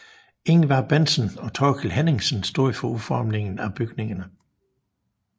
Ivar Bentsen og Thorkild Henningsen stod for udformningen af bygningerne